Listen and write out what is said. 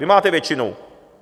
Vy máte většinu.